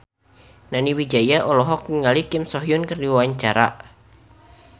Nani Wijaya olohok ningali Kim So Hyun keur diwawancara